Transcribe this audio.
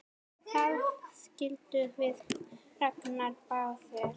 Það skildum við Ragnar báðir!